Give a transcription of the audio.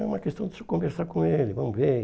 É uma questão de conversar com ele, vamos ver.